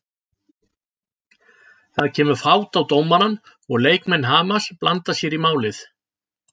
Það kemur fát á dómarann og leikmenn Hamars blanda sér í málið.